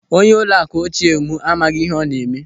Onye ụlọakụ ochie m amaghị ihe ọ na-eme.